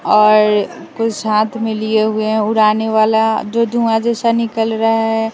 और कुछ हाथ में लिए हुए हैं उड़ाने वाला जो धुआं जैसा निकल रहा है।